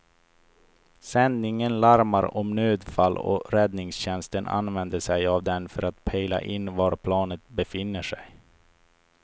Sändningen larmar om nödfall och räddningstjänsten använder sig av den för att pejla in var planet befinner sig.